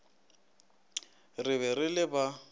re be re le ba